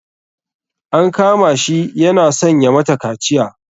An kama shi yana son ya mata kaciya.